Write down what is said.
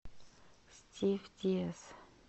стив диас